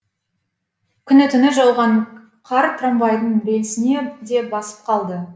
күні түні жауған қар трамвайдың рельсін де басып қалды